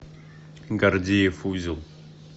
гордиев узел